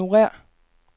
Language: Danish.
ignorér